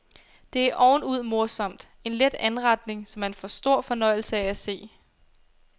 Det er ovenud morsomt, en let anretning, som man får stor fornøjelse af at se.